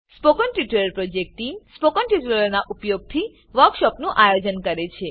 spoken tutorial project team spoken ટ્યુટોરીયલોનાં ઉપયોગથી વર્કશોપોનું આયોજન કરે છે